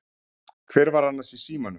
Hver var annars í símanum?